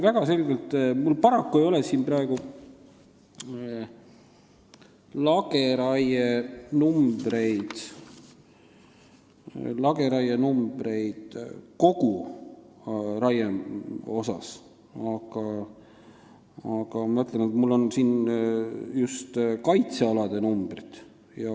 Mul paraku ei ole siin praegu arve koguraie kohta, mul on siin just kaitsealade arvud.